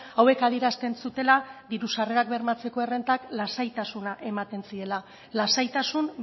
hauek adierazten zutela diru sarrerak bermatzeko errentak lasaitasuna ematen ziela lasaitasun